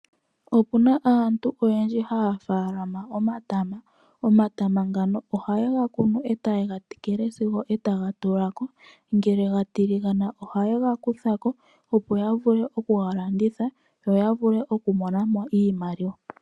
Opuna aantu oyendji haya faalama omatama. Omatama ngano oha yega kunu e ta yega tekele sigo taga tulako. Ngele ga tiligana oha yega kutha ko opo ya vule okuga landitha yo ya vule oku mona mo iimaliwa.